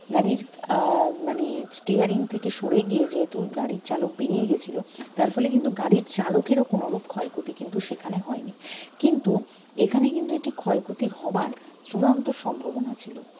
গাড়ির আহ মানে steering থেকে সরে গিয়ে যেহেতু গাড়ির চালক বেড়িয়ে গেছিলো তার ফলে কিন্তু গাড়ির চালকের ও কোনোরূপ ক্ষয়ক্ষতি কিন্তু সেখানে হয়নি কিন্তু এখানে কিন্তু এটি ক্ষয়ক্ষতি হবার চূড়ান্ত সম্ভাবনা ছিল